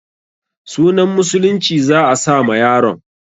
Sunan musulunci za a sa ma yaron.